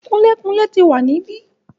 Kunlé-kunlé ti wà níbí.